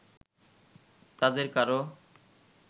তাদের কারো